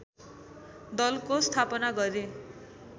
दलको स्थापना गरे